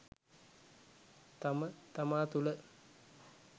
තම තමා තුළ